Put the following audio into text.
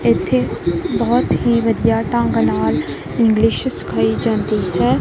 ਇੱਥੇ ਬਹੁਤ ਹੀ ਵਧੀਆ ਢੰਗ ਨਾਲ ਇੰਗਲਿਸ਼ ਸਿਖਾਈ ਜਾਂਦੀ ਹੈ।